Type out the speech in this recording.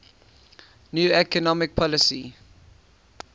new economic policy